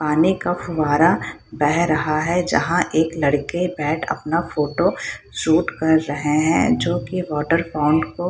खाने का फव्वारा बह रहा है जहाँ एक लड़के बैठ अपना फोटो शूट कर रहे हैं जो की वाटर पौंड को --